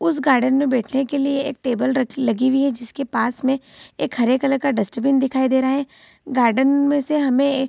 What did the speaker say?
उस गार्डन में बैठने के लिए एक टेबल रखी लगी हुई है जिसके पास में एक हरे कलर का डस्टबिन दिखाई दे रहा है गार्डन में से हमें ए --